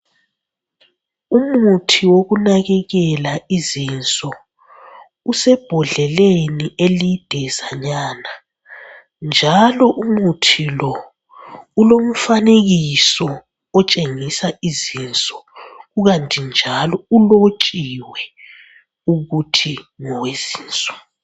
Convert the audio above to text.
Umuthi wokunakekela izinso usebhodleleni elidezanyana njalo umuthi lo ulomfanekiso otshengisa izinso kukanti njalo ulotshiwe ukuthi ngowezinso.